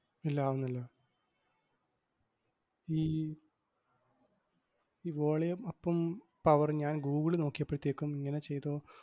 ഇല്ല ആവുന്നില്ല. ഈ ഈ volume up ഉം power ഉം ഞാൻ ഗൂഗിളി നോക്കിയപ്പഴത്തേക്കും ഇങ്ങനെ ചെയ്തോ~